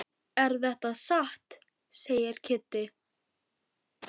Er þetta satt? segir Kiddi.